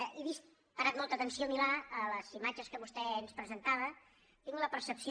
he vist he parat molta atenció milà a les imatges que vostè ens presentava tinc la percepció